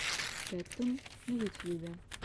кэттун на ютьюбе